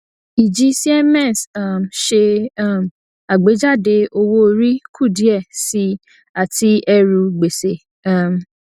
ìjì siemens um ṣe um àgbéjáde owóorí kù díẹ síi àti ẹrù gbèsè um